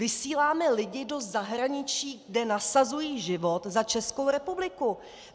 Vysíláme lidi do zahraničí, kde nasazují život za Českou republiku.